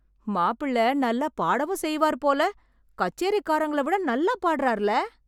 மாப்பிள்ளை நல்லா பாடவும் செய்வார் போல. கச்சேரிகாரங்கள விட நல்லா பாடுறார்ல.